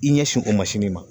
I ɲɛsin o ma